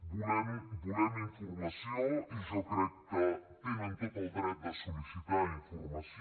volem informació i jo crec que tenen tot el dret de sol·licitar informació